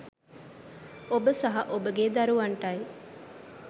ඔබ සහ ඔබගේ දරුවන්ටයි.